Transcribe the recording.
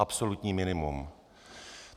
Absolutní minimum.